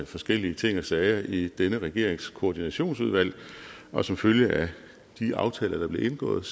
forskellige ting og sager i denne regerings koordinationsudvalg og som følge af de aftaler der blev indgået